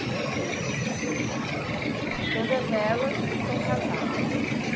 Mas... E todas elas são casadas hoje?